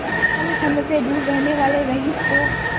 छल छंद से दूर रहने वाले रईस को